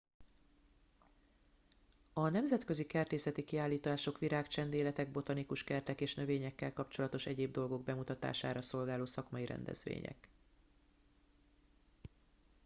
a nemzetközi kertészeti kiállítások virágcsendéletek botanikus kertek és növényekkel kapcsolatos egyéb dolgok bemutatására szolgáló szakmai rendezvények